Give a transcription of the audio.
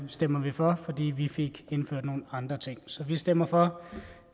stemmer for fordi vi fik indført nogle andre ting så vi stemmer for